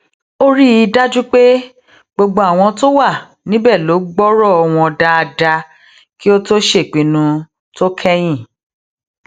ó rí i dájú pé gbogbo àwọn tó wà níbè ló gbórò wọn dáadáa kí ó tó ṣèpinnu tó kẹyìn